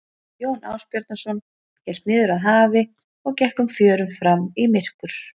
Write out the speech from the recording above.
Jón Ásbjarnarson hélt niður að hafi og gekk um fjörur fram í myrkur.